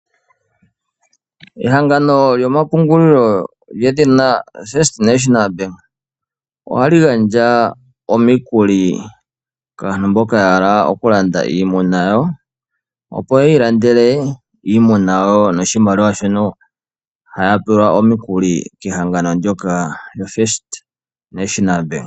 Ehangano lyomapungulilo lyedhina First National Bank, ohali gandja omikuli kaantu mboka ya hala okulanda iimuna yawo, opo yi ilandele iimuna yawo noshimaliwa shono haya pewa omikuli kehangano ndyoka lyoFirst National Bank.